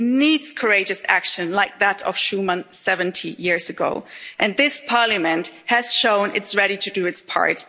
ahead. It needs courageous action like that of Schuman 70 years ago, and this Parliament has shown it is ready to do